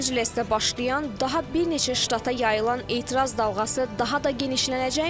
Los-Ancelesdə başlayan, daha bir neçə ştata yayılan etiraz dalğası daha da genişlənəcəkmi?